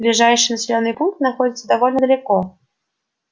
ближайший населённый пункт находится довольно далеко